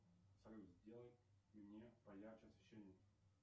салют сделай мне поярче освещение